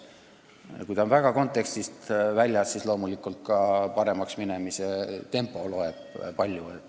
Kui kool on väga palju õigelt teelt väljas, siis loomulikult loeb ka paremaks minemise tempo palju.